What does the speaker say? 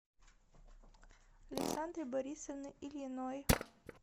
александры борисовны ильиной